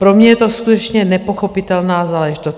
Pro mě je to skutečně nepochopitelná záležitost.